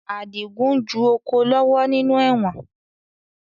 Adigun ń ju oko lọ́wọ́ nínú ẹ̀wọ̀n